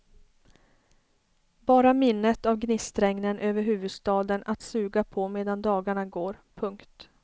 Bara minnet av gnistregnen över huvudstaden att suga på medan dagarna går. punkt